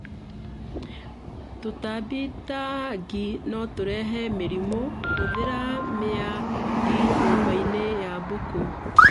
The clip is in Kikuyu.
Tũtambi ta ngi notũrehe mĩrimũ; hũthĩra miya ngi nyũmbainĩ ya mbũkũ